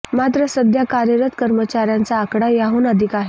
मात्र सध्या कार्यरत कर्मचाऱ्यांचा आकडा याहून अधिक आहे